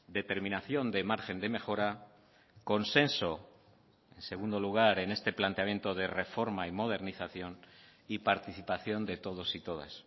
determinación de margen de mejora consenso en segundo lugar en este planteamiento de reforma y modernización y participación de todos y todas